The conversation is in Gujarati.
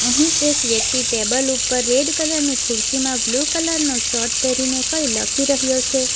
અહીં એક વ્યક્તિ ટેબલ ઉપર રેડ કલર ની ખુરશીમાં બ્લુ કલર નો શર્ટ પહેરીને કઈ લખી રહ્યો છે.